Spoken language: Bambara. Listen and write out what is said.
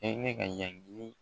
E ne ka